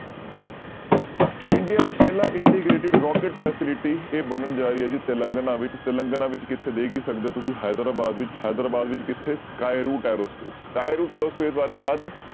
India ਦਾ ਪਹਿਲਾ integrated rocket facility ਇਹ ਬਣਨ ਜਾ ਰਹੀ ਹੈ ਜੀ ਤਿਲੰਗਨਾ ਵਿੱਚ, ਤਿਲੰਗਨਾ ਵਿੱਚ ਕਿੱਥੇ ਦੇਖ ਹੀ ਸਕਦੇ ਹੋ ਤੁਸੀਂ ਹੈਦਰਾਬਾਦ ਵਿੱਚ ਹੈਦਰਾਬਾਦ ਵਿੱਚ ਕਿੱਥੇ skyroot aerospace, skyroot aerospace ਬਾਰੇ ਯਾਦ ਹੈ